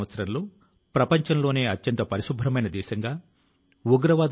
ఈ లేఖ లో ఒక చోట ఆయన ఇలా రాశారు సాధారణ మనిషి గా ఉండటం మంచిది